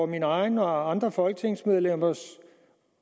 min egen og andre folketingsmedlemmers